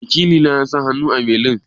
Wakili na ya sa hannu a belin?